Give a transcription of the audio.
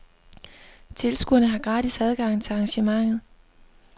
Tilskuere har gratis adgang til arrangementet.